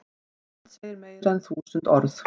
Mynd segir meira en þúsund orð